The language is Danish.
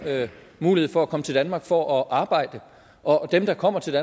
mulighed for at komme til danmark for at arbejde og dem der kommer til